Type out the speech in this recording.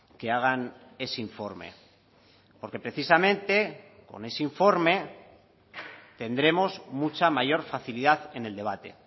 que hagan ese informe porque precisamente con ese informe tendremos mucha mayor facilidad en el debate